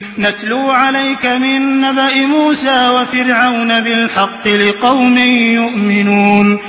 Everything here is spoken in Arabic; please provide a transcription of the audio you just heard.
نَتْلُو عَلَيْكَ مِن نَّبَإِ مُوسَىٰ وَفِرْعَوْنَ بِالْحَقِّ لِقَوْمٍ يُؤْمِنُونَ